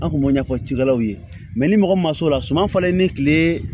An kun b'o ɲɛfɔ cikɛlaw ye ni mɔgɔ min ma s'o la suman falen ni kile